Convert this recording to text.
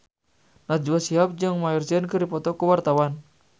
Najwa Shihab jeung Maher Zein keur dipoto ku wartawan